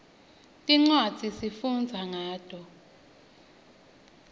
tincwadzi sifundza ngato